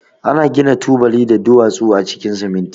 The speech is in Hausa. Ana gina tubali da duwatsu a cikin siminti.